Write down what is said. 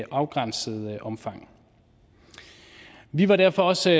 afgrænset omfang vi var derfor også